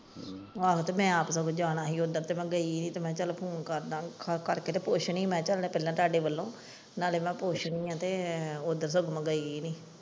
ਆਹੋ ਤੇ ਮੈਂ ਆਪ ਸਗੋਂ ਜਾਣਾ ਸੀ ਜਦੋਂ ਮੈਂ ਗਈ ਸੀ ਤੇ ਮੈਂ ਕਿਹਾ ਚੱਲ ਫੋਨ ਕਰਦਾ ਫੋਨ ਕਰਕੇ ਤਾਂ ਪੁੱਛਦੀ ਹੈ ਮੈਂ ਕਿਹਾ ਤੁਹਾਡੇ ਵੱਲੋਂ ਨਾਲੇ ਮੈਂ ਪੁੱਛਦੀ ਹੈ ਉਦੋਂ ਤੁਹਾਡੇ ਨਾਲ ਗਈ ਨੀ।